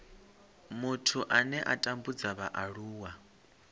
muthu ane a tambudza vhaaluwa